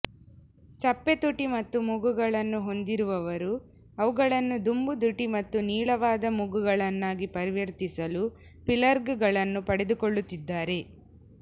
ಚಪ್ಪೆ ತುಟಿ ಮತ್ತು ಮೂಗುಗಳನ್ನು ಹೊಂದಿರುವವರು ಅವುಗಳನ್ನು ತುಂಬುದುಟಿ ಮತ್ತು ನೀಳವಾದ ಮೂಗುಗಳನ್ನಾಗಿ ಪರಿವರ್ತಿಸಲು ಫಿಲ್ಲರ್ಗಳನ್ನು ಪಡೆದುಕೊಳ್ಳುತ್ತಿದ್ದಾರೆ